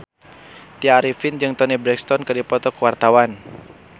Tya Arifin jeung Toni Brexton keur dipoto ku wartawan